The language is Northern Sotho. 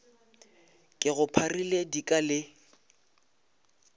ke go pharile dika le